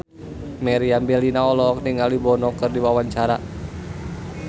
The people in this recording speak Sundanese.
Meriam Bellina olohok ningali Bono keur diwawancara